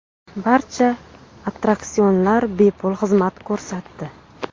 Barcha attraksionlar bepul xizmat ko‘rsatdi.